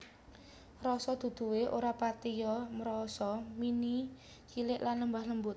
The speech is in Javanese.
Rasa duduhe ora patiya mrasa mine cilik lan lembut lembut